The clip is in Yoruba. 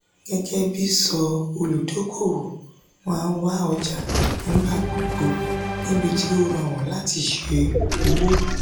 gẹ́gẹ́bí ti sọ òludókòowò má wá ọjà nígbà gbogbo nibiti ó rọrùn láti ṣe òwò.